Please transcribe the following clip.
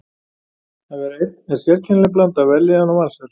Að vera einn er sérkennileg blanda af vellíðan og vansæld.